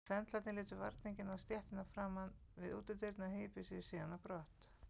Sendlarnir létu varninginn á stéttina framan við útidyrnar og hypjuðu sig síðan á brott.